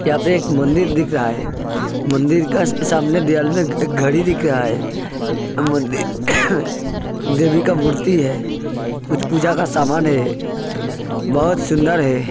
यहां पे एक मंदिर दिख रहा है मंदिर के सामने दीवाल में एक घड़ी दिख रहा है मंदिर देवी का मूर्ति है कुछ पूजा का सामना है बहुत सुन्दर है।